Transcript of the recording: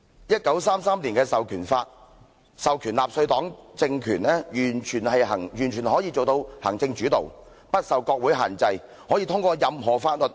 1933年的《授權法》授權下，納粹黨政權完全可以做到行政主導，不受國會限制，可以通過任何法律。